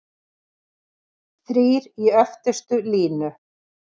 Þrír í öftustu línu?